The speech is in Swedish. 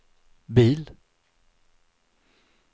bil